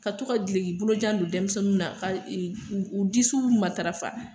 Ka to ka gileki bolojan don denmisɛnninw na ka e u disiw matarafa